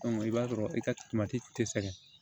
i b'a sɔrɔ i ka tɛ sɛgɛn